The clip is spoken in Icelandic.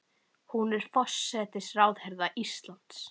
Hún er forsætisráðherra Íslands.